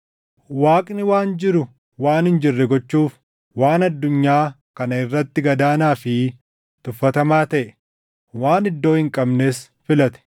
Waaqni waan jiru waan hin jirre gochuuf, waan addunyaa kana irratti gad aanaa fi tuffatamaa taʼe, waan iddoo hin qabnes filate;